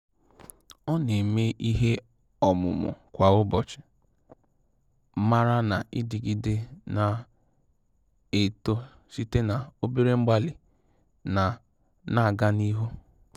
Ọ na-eme ihe ọmụmụ kwa ụbọchị, mara na idigide na-eto site na obere mgbalị na-aga n'ihu